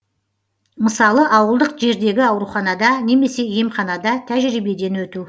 мысалы ауылдық жердегі ауруханада немесе емханада тәжірибеден өту